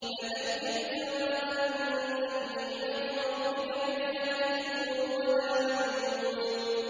فَذَكِّرْ فَمَا أَنتَ بِنِعْمَتِ رَبِّكَ بِكَاهِنٍ وَلَا مَجْنُونٍ